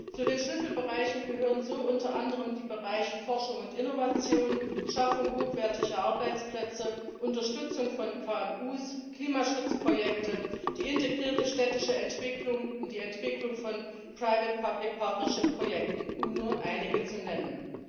Zu den Schlüsselbereichen gehören unter anderem die Bereiche Forschung und Innovation, Schaffung hochwertiger Arbeitsplätze, Unterstützung von KMU, Klimaschutzprojekte, die integrierte städtische Entwicklung und die Entwicklung von private public partnership Projekten, um nur einige zu nennen.